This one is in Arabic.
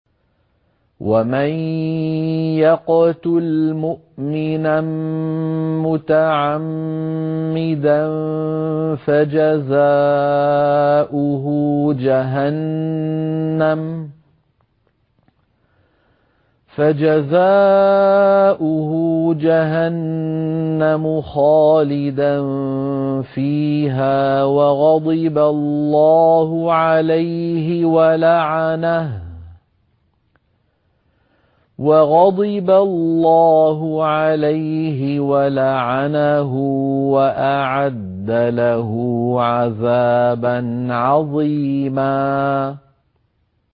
وَمَن يَقْتُلْ مُؤْمِنًا مُّتَعَمِّدًا فَجَزَاؤُهُ جَهَنَّمُ خَالِدًا فِيهَا وَغَضِبَ اللَّهُ عَلَيْهِ وَلَعَنَهُ وَأَعَدَّ لَهُ عَذَابًا عَظِيمًا